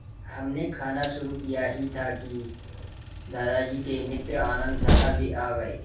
हमने खाना शुरू किया ही था कि दादाजी के मित्र आनन्द साहब भी आ गए